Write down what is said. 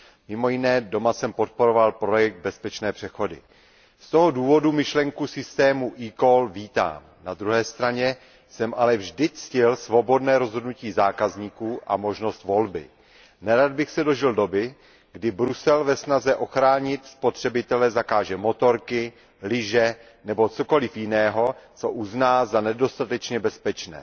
Mimo jiné doma jsem podporoval projekt Bezpečné přechody. Z toho důvodu myšlenku systému eCall vítám. Na druhé straně jsem ale vždy ctil svobodné rozhodnutí zákazníků a možnost volby. Nerad bych se dožil doby, kdy Brusel ve snaze ochránit spotřebitele zakáže motorky, lyže nebo cokoliv jiného, co uzná za nedostatečně bezpečné.